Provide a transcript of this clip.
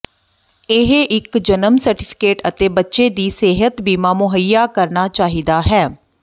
ਇਹ ਇੱਕ ਜਨਮ ਸਰਟੀਫਿਕੇਟ ਅਤੇ ਬੱਚੇ ਦੀ ਸਿਹਤ ਬੀਮਾ ਮੁਹੱਈਆ ਕਰਨਾ ਚਾਹੀਦਾ ਹੈ